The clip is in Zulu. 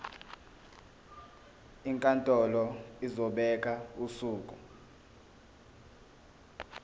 inkantolo izobeka usuku